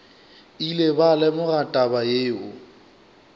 ile ba lemoga taba yeo